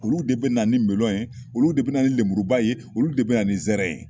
Olu de bɛ na ni melɔn ye olu de bɛ lenburuba ye olu de bɛ ni nsɛrɛ ye